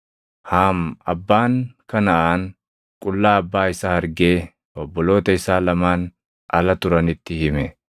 Haam abbaan Kanaʼaan qullaa abbaa isaa argee obboloota isaa lamaan ala turanitti hime.